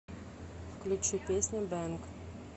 включи песня бэнг